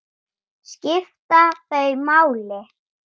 Skipta þau máli?